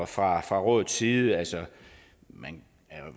fra fra rådets side altså man er